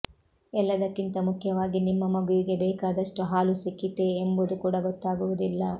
ಎಲ್ಲದಕ್ಕಿಂತ ಮುಖ್ಯವಾಗಿ ನಿಮ್ಮ ಮಗುವಿಗೆ ಬೇಕಾದಷ್ಟು ಹಾಲು ಸಿಕ್ಕಿತೇ ಎಂಬುದು ಕೂಡ ಗೊತ್ತಾಗುವುದಿಲ್ಲ